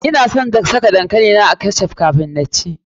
Ina son saka dankali na a ketch up kafun na ci.